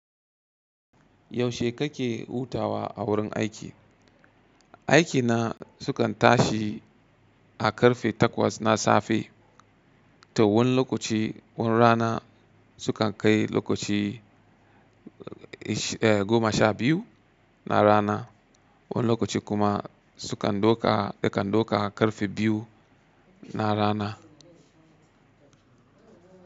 Yaushe kake hutawa a wurin aiki? Aiki na sukan tashi a karfe takwas na safe, to wani lokaci wani rana sukan kai lokaci, goma sha biyu na rana, wani lokaci kuma sukan dauka daukan har karfe biyu na rana.